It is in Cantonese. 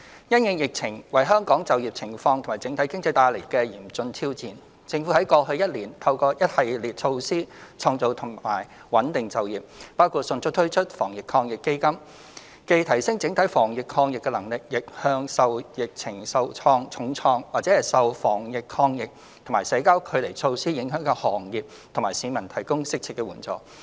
因應疫情為香港就業情況及整體經濟帶來的嚴峻挑戰，政府在過去一年透過一系列措施創造及穩定就業，包括迅速推出防疫抗疫基金，既提升整體防疫抗疫能力，亦向受疫情重創或受防疫抗疫和社交距離措施影響的行業和市民提供適切援助。